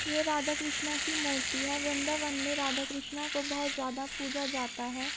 ये राधा कृष्णा की मूर्ति है। वृंदावन मे राधा कृष्णा का बोहोत ज्यादा पूजा जाता है।